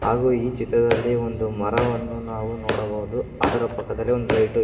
ಹಾಗು ಈ ಚಿತ್ರದಲ್ಲಿ ಒಂದು ಮರವನ್ನು ನಾವು ನೋಡಬಹುದು ಅದರ ಪಕ್ಕದಲ್ಲಿ ಒಂದ್ ಲೈಟು ಇ --